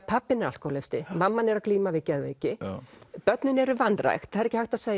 pabbinn er alkóhólisti mamman er að glíma við geðveiki börnin eru vanrækt það er ekki hægt að segja